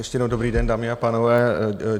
Ještě jednou dobrý den, dámy a pánové.